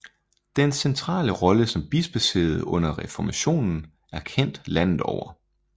Dens centrale rolle som bispesæde under reformationen er kendt landet over